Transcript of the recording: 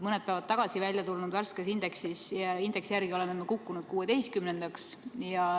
Mõned päevad tagasi välja tulnud värske indeksi järgi oleme kukkunud 16.-ks.